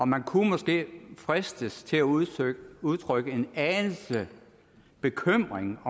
man kunne måske fristes til at udtrykke udtrykke en anelse bekymring